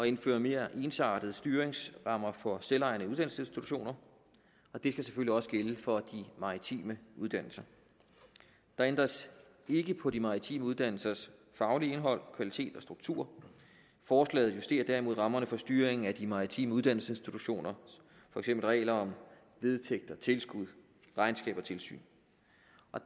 indføre mere ensartede styringsrammer for selvejende uddannelsesinstitutioner og det skal selvfølgelig også gælde for de maritime uddannelser der ændres ikke på de maritime uddannelsers faglige indhold kvalitet og struktur forslaget justerer derimod rammerne for styringen af de maritime uddannelsesinstitutioner for eksempel regler vedtægter tilskud regnskab og tilsyn